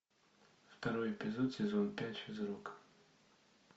второй эпизод сезон пять физрук